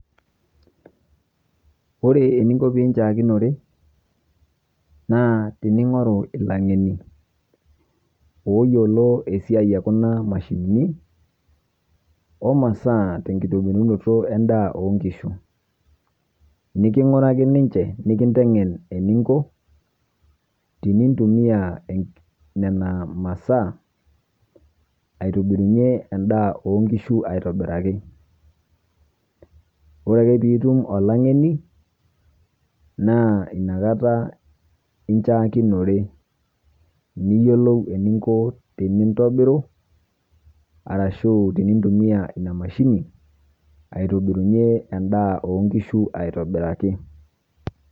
Ore eninko piinchaakinore naa tining'oru ilang'eni ooyiolo esiai e kuna mashinini omasaa tenkitobirunoto endaa oonkishu. Niking'uraki ninche nikinteng'en eninko tinintumia nena masaa, aitubirunye endaa oonkishu aitobiraki. Ore ake piitum olang'eni naa inakata inchaanikinore niyiolou eninko tinintobiru arashu tinintumia ina mashini aitubirunye endaa oonkishu aitobiraki.